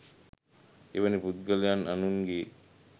එවැනි පුද්ගලයන් අනුන්ගේ